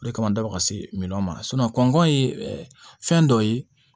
O de kama n da bɔ ka se min ma kɔngɔn ye fɛn dɔ ye